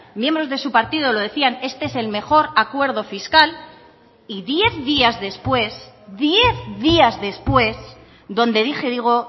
miembros de su partido lo decían este es el mejor acuerdo fiscal y diez días después diez días después donde dije digo